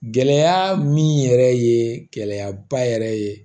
Gɛlɛya min yɛrɛ ye gɛlɛyaba yɛrɛ ye